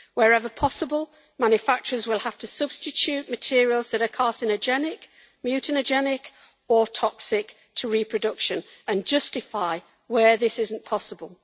Wherever possible, manufacturers will have to substitute materials that are carcinogenic, mutagenic or toxic to reproduction, and justify where this is not possible.